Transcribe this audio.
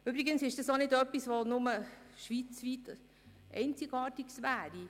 Übrigens ist dies nichts, das schweizweit einzigartig wäre.